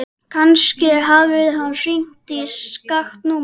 Kannski hafði hann hringt í skakkt númer.